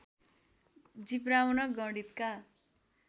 जिब्राउन गणितका